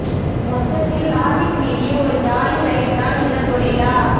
மொத்ததில் logic மீறிய ஒரு jolly ride தான் இந்த கொரில்லா